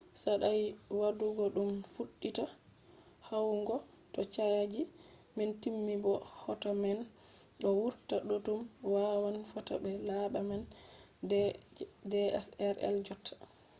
saɗai waɗugo ɗum fuɗɗita huwugo to chaji man timmi bo hoto man ɗo wurta boɗɗum wawan fota be laɓa nana je dslr jotta